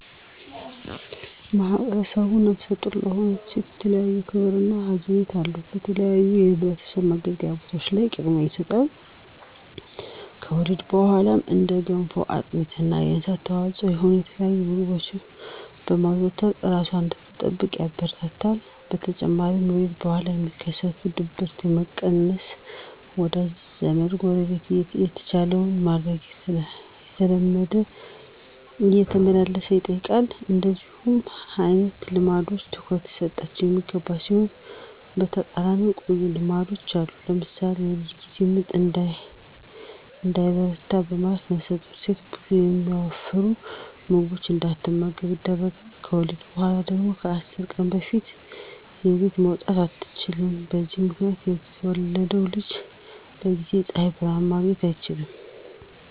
ማህብረሰቡ ነፍሰ ጡር ለሆነች ሴት የተለየ ክብር እና ሀዘኔታ አለው። በተለያዩ የህዝብ መገልገያ ቦታዎች ላይ ቅድሚያ ይሰጣል። ከወሊድ በኋላም እንደ ገንፎ፣ አጥሚት እና የእንስሳት ተዋፅዖ የሆኑ የተለያዩ ምግቦችን በማዘውተር እራሷን እንድትጠግን ያበረታታል። በተጨማሪም ከወሊድ በኋላ የሚከሰትን ድብርት ለመቀነስ ወዳጅ ዘመ፣ ጎረቤት የተቻለውን በማድረግ እየተመላለሰ ይጠይቃል። እንደነዚህ አይነት ልምዶች ትኩረት ሊሰጣቸው የሚገባ ሲሆን በተቃራኒው ጎጅ ልማዶችም አሉ። ለምሳሌ በወሊድ ጊዜ ምጥ እንዳይበረታ በማለት ነፍሰጡር ሴት ብዙ የሚያወፍሩ ምግቦችን እንዳትመገብ ይደረጋል። ከወሊድ በኋላ ደግሞ ከ10 ቀን በፊት ከቤት መውጣት አትችልም። በዚህ ምክንያት የተወለደው ልጅ በጊዜ የፀሀይ ብርሀን ማግኘት አይችልም።